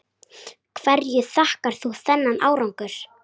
Hverju þakkar þú þennan árangur?